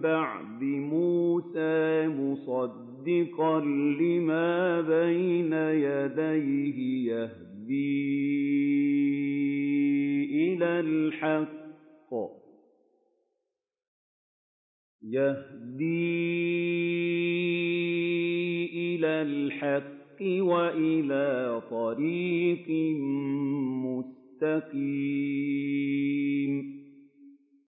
بَعْدِ مُوسَىٰ مُصَدِّقًا لِّمَا بَيْنَ يَدَيْهِ يَهْدِي إِلَى الْحَقِّ وَإِلَىٰ طَرِيقٍ مُّسْتَقِيمٍ